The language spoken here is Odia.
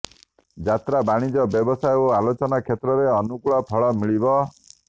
ଯାତ୍ରା ବାଣିଜ୍ୟ ବ୍ୟବସାୟ ଓ ଆଲୋଚନା କ୍ଷେତ୍ରରେ ଅନୁକୂଳ ଫଳ ମିଳିବ